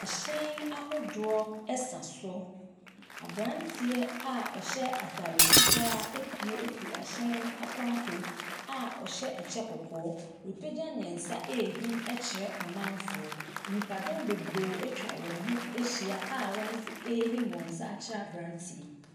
Ahyɛn ahodoɔ sa so. Aberanteɛ a ɔhyɛ atare fitaa apue afiri ahyɛn no apampam a ɔhyɛ kyɛ kɔkɔɔ. Wapagya ne nsa rehim kyerɛ amanfoɔ. Nnipadɔm bebree atwa wɔn ho ahyia a wɔn nso rehim wɔn nsa akyerɛ aberanteɛ yi.